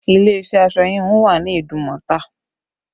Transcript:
Ilé iṣẹ́ aṣọ híhun wà ní Idumota